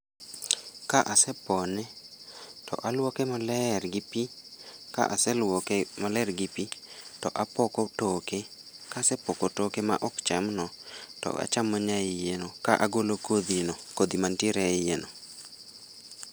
Ka asepone, to aluoke maler gi pii. Ka aseluoke maler gi pii, to apoko toke. Kasepoko toke ma ok cham no, to achamo nyaiye no ka agolo kodhi no, kodhi mantiere e iye no